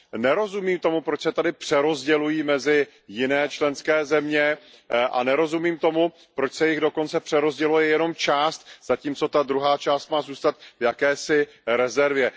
Nerozumím tomu, proč se tady přerozdělují mezi jiné členské země a nerozumím tomu, proč se jich dokonce přerozděluje jenom část, zatímco ta druhá část má zůstat v jakési rezervě.